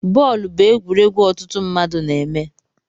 Bọọlụ bụ egwuregwu ọtụtụ mba na-eme